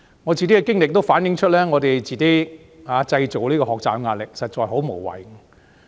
我自己的經歷反映，我們自己製造學習壓力，實在很無謂。